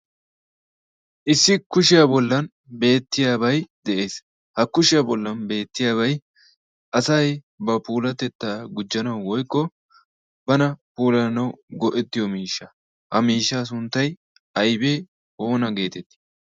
issi kushiyaa bollan beettiyaabay de'ees ha kushiyaa bollan beettiyaabay asay ba puulatettaa gujjanau woykko bana puulaanau go''ettiyo miishsha ha miishshaa sunttay aybee oona geetettii